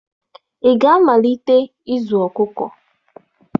Ị ga-amalite ịzụ ọkụkọ?